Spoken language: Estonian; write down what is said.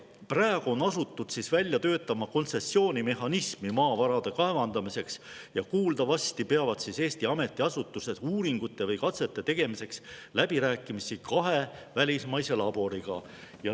Praegu on asutud välja töötama kontsessioonimehhanismi maavarade kaevandamiseks ja kuuldavasti peavad Eesti ametiasutused uuringute või katsete tegemiseks läbirääkimisi kahe välismaise laboriga.